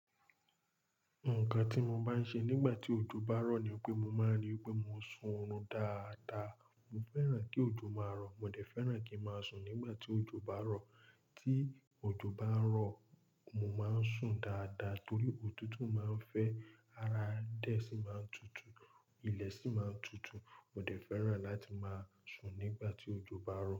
Nǹkan tí mo máa ń ṣe nígbà tí òjò bá ń rọ̀ ni pé mo máa ń rí pé mo sùn ọ̀run dáadáa. Mo fẹ́ràn kí òjò máa rọ̀, mo dẹ̀ fẹ́ràn kí ń máa sùn nígbà tí òjò bá rọ̀. Tí òjò bá ń rọ̀, mo máa ń sùn dáadáa torí òtútù máa ń fẹ́, ara adẹ́ sì máa ń tutù, ilẹ̀ sì máa ń tutù. Mo dẹ̀ fẹ́ràn láti máa sùn nígbà tí òjò bá ń rọ̀.